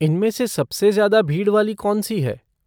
इनमें से सबसे ज़्यादा भीड़ वाली कौनसी है?